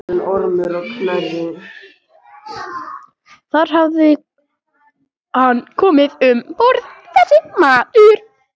Þar hafði hann komið um borð, þessi maður.